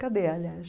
Cadê, aliás?